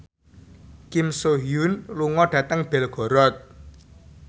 Kim So Hyun lunga dhateng Belgorod